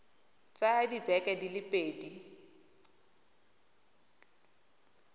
tsaya dibeke di le pedi